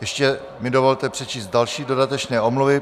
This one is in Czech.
Ještě mi dovolte přečíst další dodatečné omluvy.